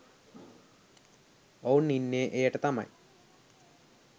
ඔවුන් ඉන්නේ එයට තමයි